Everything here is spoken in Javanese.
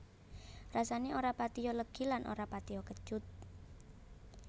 Rasané ora patiya legi lan ora patiya kecut